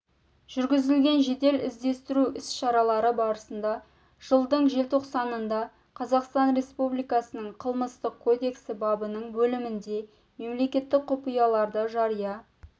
жүргізілген жедел іздестіру іс-шаралары барысында жылдың желтоқсанында қазақстан республикасының қылмыстық кодексі бабының бөлімінде мемлекеттік құпияларды жария